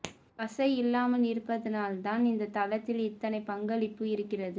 வசை இல்லாமல் இருப்பதனால்தான் இந்த தளத்தில் இத்தனை பங்களிப்பு இருக்கிறது